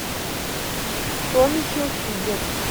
томми хилфигер